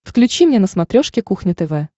включи мне на смотрешке кухня тв